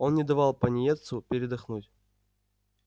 он не давал пониетсу передохнуть